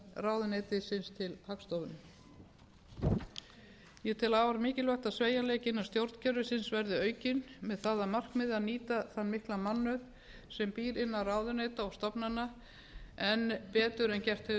fjármálaráðuneytisins til hagstofunnar ég tel afar mikilvægt að sveigjanleiki innan stjórnkerfisins verði aukinn með það að markmiði að nýta þann mikla mannauð sem býr innan ráðuneyta og stofnana enn betur en gert hefur